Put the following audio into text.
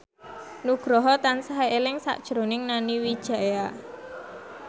Nugroho tansah eling sakjroning Nani Wijaya